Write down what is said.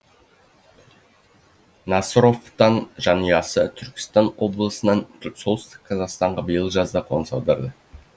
жанұясы түркістан облысынан солтүстік қазақстанға биыл жазда қоныс аударды